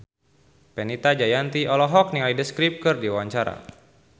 Fenita Jayanti olohok ningali The Script keur diwawancara